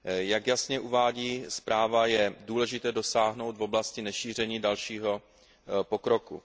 Jak jasně uvádí zpráva, je důležité dosáhnout v oblasti nešíření dalšího pokroku.